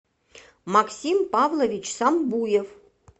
максим павлович самбуев